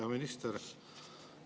Hea minister!